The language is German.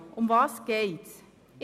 Worum geht es?